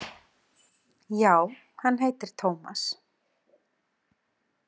Já, hann heitir Tómas.